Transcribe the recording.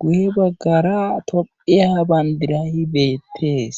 guye bagara tophiya banddiray beettees.